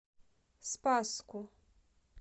спасску